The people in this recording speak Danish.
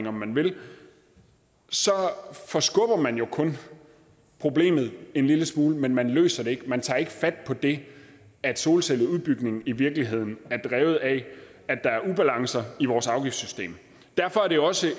om man vil forskubber man jo kun problemet en lille smule men man løser det ikke man tager ikke fat på det at solcelleudbygning i virkeligheden er drevet af at der er ubalancer i vores afgiftssystem derfor er det også